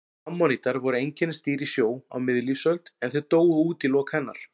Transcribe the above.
Ammonítar voru einkennisdýr í sjó á miðlífsöld en þeir dóu út í lok hennar.